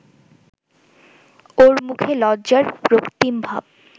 ওর মুখে লজ্জার রক্তিম ভাব